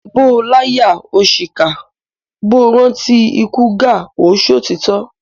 Bó o láyà o ṣìkà, bó o rántí ikú Gáà o ṣòtítọ́.